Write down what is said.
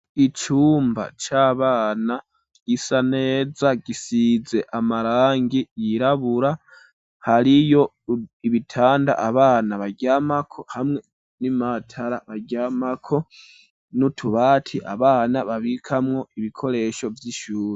Icumba c'abana gisa neza gisize amarangi yirabura, hariyo ibitanda abana baryamako, hamwe n'imatara baryamako, nutubati abana babikamwo ibikoresho vy'ishuri.